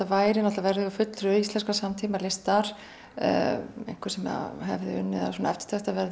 værum með fulltrúa íslenskrar samtímalistar einhvern sem hefði unnið að eftirtektarverðum